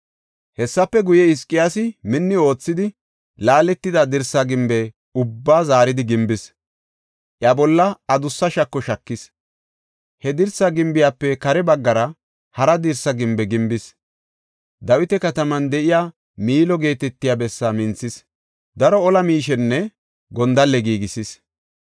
Hessafe guye, Hizqiyaasi minni oothidi, laaletida dirsa gimbe ubbaa zaaridi gimbis; iya bolla adussa shako shakis. He dirsa gimbiyafe kare baggara hara dirsa gimbe gimbis. Dawita kataman de7iya Miilo geetetiya bessaa minthis; daro ola miishenne gondalle giigisis.